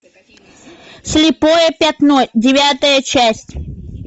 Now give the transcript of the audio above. слепое пятно девятая часть